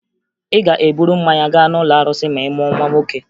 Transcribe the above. Ị ga-eburu mmanya gaa n'ụlọ arụsị ma ị mụọ nwa nwoke